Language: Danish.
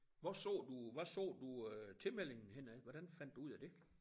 Hvor så du hvad så du øh tilmeldingen henne af hvordan fandt du ud af det?